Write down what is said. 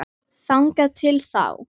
Þangað til þá.